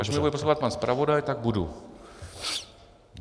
Až mě bude poslouchat pan zpravodaj, tak budu.